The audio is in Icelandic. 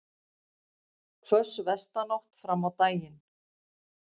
Hvöss vestanátt fram á daginn